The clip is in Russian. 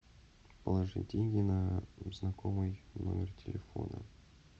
положи деньги на знакомый номер телефона